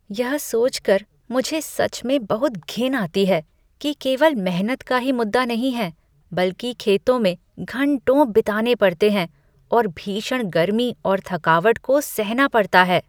यह सोच कर मुझे सच में बहुत घिन आती है कि केवल मेहनत का ही मुद्दा नहीं है, बल्कि खेतों में घंटों बिताने पड़ते हैं और भीषण गर्मी और थकावट को सहना पड़ता है।